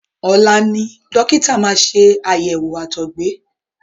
Ọ̀la ni dọ́kítà máa ṣe àyẹ̀wò àtọgbẹ.